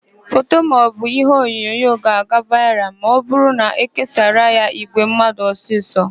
Foto maọbụ iheonyonyo ga-aga vaịral ma ọbụrụ na ékésaara ya ìgwè mmadụ ọsịsọ.